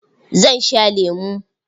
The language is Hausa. Zan sha lemo.